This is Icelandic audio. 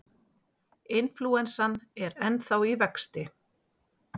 Inflúensan er ennþá í vexti.